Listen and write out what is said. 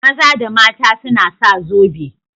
Maza da mata suna sa zobe.